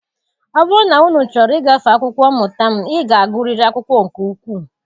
Ọ bụrụ na unu chọrọ ịgafe akwụkwọ mmụta m, ị ga-agụrịrị akwụkwọ nke ukwuu